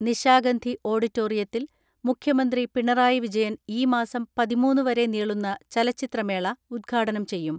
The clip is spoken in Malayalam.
നിശാഗന്ധി ഓഡിറ്റോറിയ ത്തിൽ മുഖ്യമന്ത്രി പിണറായി വിജയൻ ഈ മാസം പതിമൂന്ന് വരെ നീളുന്ന ചലച്ചിത്രമേള ഉദ്ഘാടനം ചെയ്യും.